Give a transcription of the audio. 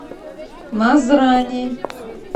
назрани